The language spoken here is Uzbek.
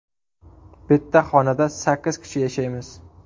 Bitta xonada sakkiz kishi yashaymiz.